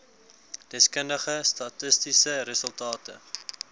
deskundige statistiese resultate